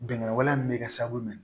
Bɛnkan wale min bɛ kɛ sababu ye